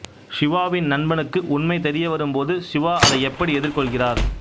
சிவாவின் நண்பனுக்கு உண்மை தெரியவரும்போது சிவா அதை எப்படி எதிர்கொள்கிறார்